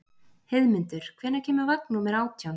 Heiðmundur, hvenær kemur vagn númer átján?